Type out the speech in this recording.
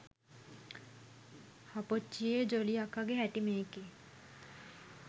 හප්පොච්චියේ ජොලී අක්කගෙ හැටි මේකෙ.